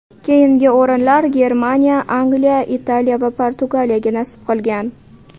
Keyingi o‘rinlar Germaniya, Angliya, Italiya va Portugaliyaga nasib qilgan.